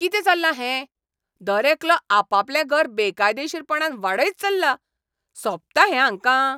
कितें चल्लां हें? दरेकलो आपापलें घर बेकायदेशीरपणान वाडयत चल्ला. सोबता हें हांकां!